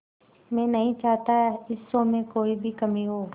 मैं नहीं चाहता इस शो में कोई भी कमी हो